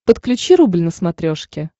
подключи рубль на смотрешке